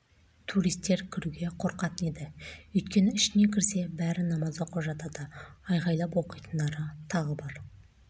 туристер кіруге қорқатын еді өйткені ішіне кірсе бәрі намаз оқып жатады айғайлап оқитындары тағы бар